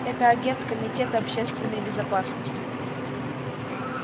это агент комитета общественной безопасности